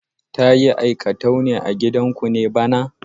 Ta yi aikatau a gidanku ne bana?